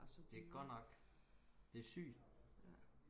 det godt nok det sygt